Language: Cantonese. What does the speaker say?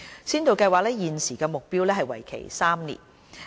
根據現時的目標，先導計劃會為期3年。